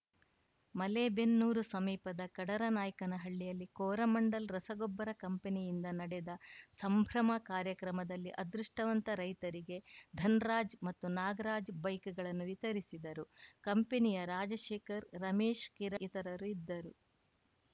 ಮಲೇಬೆನ್ನೂರು ಸಮೀಪದ ಕಡರನಾಯ್ಕನಹಳ್ಳಿಯಲ್ಲಿ ಕೋರಮಂಡಲ್‌ ರಸಗೊಬ್ಬರ ಕಂಪನಿಯಿಂದ ನಡೆದ ಸಂಭ್ರಮ ಕಾರ್ಯಕ್ರಮದಲ್ಲಿ ಅದೃಷ್ಟವಂತ ರೈತರಿಗೆ ಧನ್ ರಾಜ್‌ ಮತ್ತು ನಾಗರಾಜ್‌ ಬೈಕ್‌ಗಳನ್ನು ವಿತರಿಸಿದರು ಕಂಪನಿಯ ರಾಜಶೇಖರ್‌ ರಮೆಶ್‌ ಕಿರಣ್‌ ಇತರರು ಇದ್ದರು